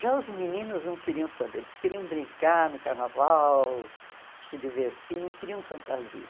Já os meninos não queriam saber, eles queriam brincar no carnaval, se divertir, não queriam fantasia.